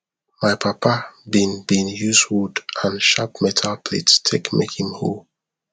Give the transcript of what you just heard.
my papa been been use wood and shap metal plate take make him hoe